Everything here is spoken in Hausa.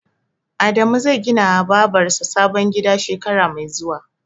Adamu zai ginawa Babar sa sabon gida shekara mai zuwa.